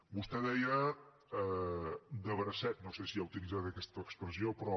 vostè deia de bracet no sé si ha utilitzat aquesta expressió però